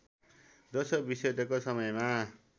दोस्रो विश्वयुद्धको समयमा